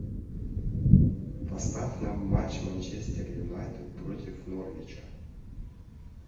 поставь нам матч манчестер юнайтед против норвича